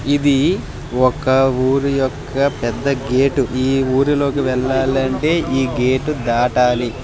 ఇది ఒక ఊరి యొక్క పెద్ద గేటు . ఈ ఊరిలోకి వెళ్లాలంటే ఈ గేటు దాటాలి.